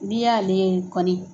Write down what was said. N'i y'ale kɔni